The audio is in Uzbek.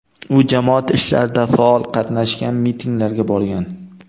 U jamoat ishlarida faol qatnashgan, mitinglarga borgan.